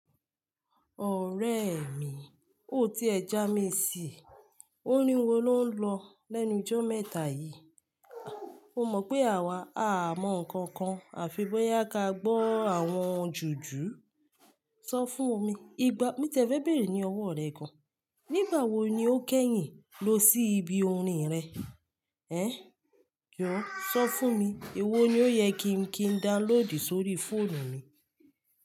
Ọ̀rẹ́ mi, ò tí ẹ já mi sí i. Ó rin wo ló ń lọ lẹ́nu ijó mẹ́ta yìí. O mọ̀ pé àwa à mọ nǹkan kan, àfi bóyá a ka gbọ́ àwọn jùjú. Sọ fún mi, ìgbà mí ti e fe bérè ní ọwọ́ rẹ gan. Nígbà wo ni o kẹ́yìn lọ sí ibi orin rẹ? Ehn, jọ̀ọ́ sọ fún mi, èwo ni ó yẹ kí n kí n dálòdì sórí fóònù mi?